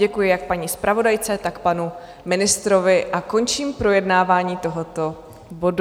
Děkuji jak paní zpravodajce, tak panu ministrovi a končím projednávání tohoto bodu.